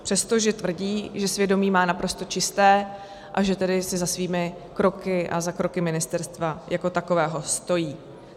Přestože tvrdí, že svědomí má naprosto čisté, a že tedy si za svými kroky a za kroky ministerstva jako takového stojí.